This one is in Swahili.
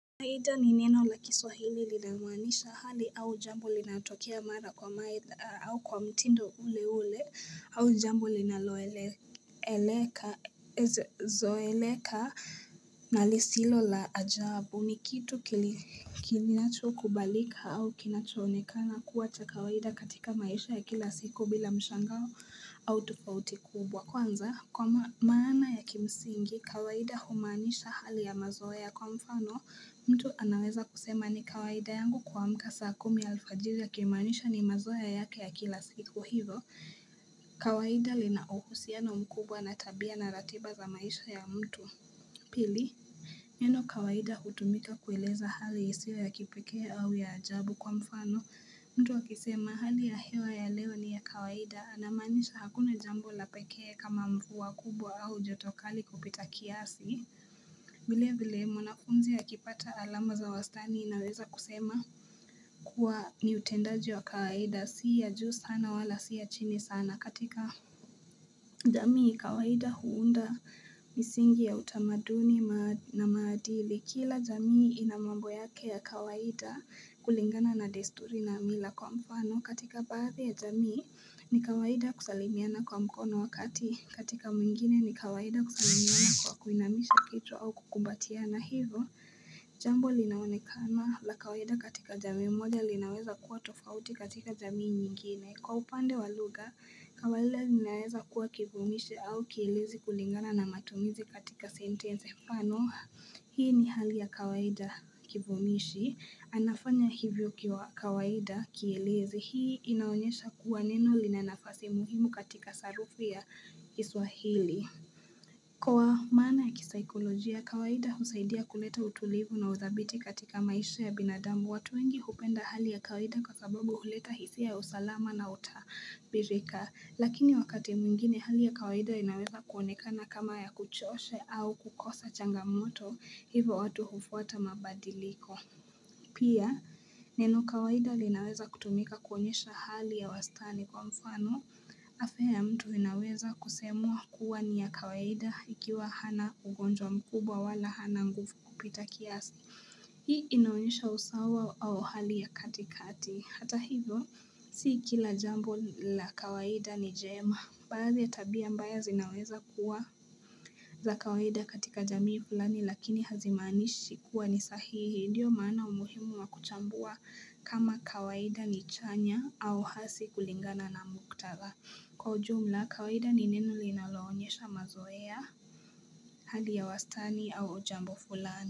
Kawaida ni neno la kiswahili linalomaanisha hali au jambo linalotokea mara kwa mara, au kwa mtindo ule ule. Au jambo linaloeleka zoeleka na lisilo la ajabu ni kitu kinachokubalika au kinachoonekana kuwa cha kawaida katika maisha ya kila siku bila mshangao au tofauti kubwa. Kwanza kwa maana ya kimsingi, kawaida humanisha hali ya mazoea kwa mfano mtu anaweza kusema ni kawaida yangu kuamka saa kumi alfajiri, akimaanisha ni mazoea yake ya kila siku hivyo. Kawaida lina uhusiano mkubwa na tabia na ratiba za maisha ya mtu. Pili. Neno kawaida hutumika kueleza hali isiyo ya kipeke au ya ajabu kwa mfano. Mtu akisema hali ya hewa ya leo ni ya kawaida. Anamaanisha hakuna jambo la pekee kama mvua kubwa au joto kali kupita kiasi. Vilevile mwanafunzi akipata alama za wastani, inaweza kusema kuwa ni utendaji wa kawaida, si ya juu sana wala si ya chini sana. Katika jamii kawaida huunda misingi ya utamaduni na maadili, Kila jamii ina mambo yake ya kawaida kulingana na desturi na mila. Kwa mfano katika baadhi ya jamii ni kawaida kusalimiana kwa mkono wakati katika mingine ni kawaida kusalimiana kwa kuinamisha kichwa au kukumbatiana hivyo Jambo linaonekana la kawaida katika jami moja, linaweza kuwa tofauti katika jamii nyingine. Kwa upande wa lugha kawaida linaweza kuwa kivumishi au kielezi kulingana na matumizi katika sentensi. Mfano hii ni hali ya kawaida kivumishi anafanya hivyo kwa kawaida. Kielezi Hii inaonyesha kuwa neno lina nafasi muhimu katika sarufi ya kiswahili Kwa maana ya kisaikolojia, kawaida husaidia kuleta utulivu na udhabiti katika maisha ya binadamu. Watu wengi hupenda hali ya kawaida kwa sababu huleta hisia ya usalama na utabirika Lakini wakati mwingine hali ya kawaida inaweza kuonekana kama ya kuchosha au kukosa changamoto. Hivyo watu hufuata mabadiliko Pia, neno kawaida linaweza kutumika kuonyesha hali ya wastani kwa mfano, afya mtu inaweza kusemwa kuwa ni ya kawaida ikiwa hana ugonjwa mkubwa wala hana nguvu kupita kiasi. Hii inaonyesha usawa au hali ya katikati, hata hivyo, si kila jambo la kawaida ni jema, baadhi ya tabia mbaya zinaweza kuwa. Za kawaida katika jamii fulani lakini hazimaanishi kuwa ni sahihi. Ndiyo maana umuhimu wa kuchambua kama kawaida ni chanya au hasi kulingana na muktadha. Kwa ujumla kawaida ni neno linaloonyesha mazoea hali ya wastani au jambo fulani.